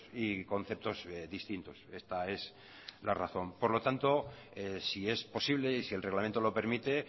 y conceptos distintos esta es la razón por lo tanto si es posible y si el reglamento lo permite